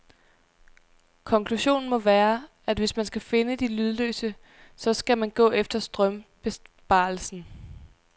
Konklusionen må være, at hvis man skal finde de lydløse, så skal man gå efter strømbesparelsen.